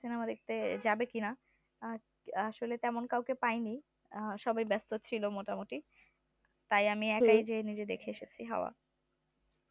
cinema দেখতে যাবে কিনা আসলে তেমন কাও কে পাইনি সবাই ব্যাস্ত ছিলো মোটামুটি তাই আমি একাই নিজে নিজে দেখে এসেছি হাওয়া